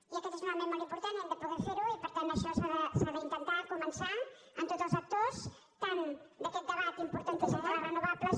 i aquest és un element molt important i hem de poder fer ho i per tant això s’ha d’intentar començar amb tots els actors tant d’aquest debat importantíssim per les renovables